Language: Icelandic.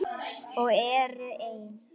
Og eru enn.